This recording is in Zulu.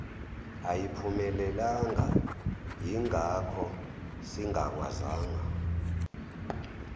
ayiphumelelanga yingakho singakwazanga